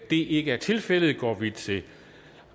det ikke er tilfældet går vi til